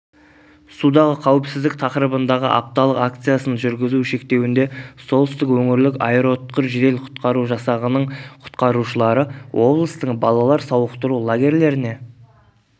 судағы қауіпсіздік тақырыбындағы апталық акциясын жүргізу шектеуінде солтүстік өңірлік аэроұтқыр жедел-құтқару жасағының құтқарушылары облыстың балалар сауықтыру лагерлеріне